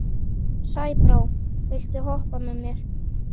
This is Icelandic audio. Sæbrá, viltu hoppa með mér?